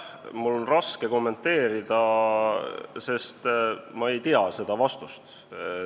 Mul on raske kommenteerida, sest ma ei tea seda vastust.